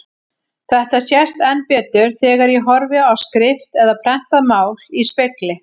Þetta sést enn betur þegar ég horfi á skrift eða prentað mál í spegli.